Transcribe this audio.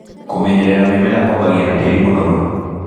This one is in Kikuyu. Kũmenyerera mĩmera kwambagia na tĩri mũmoru.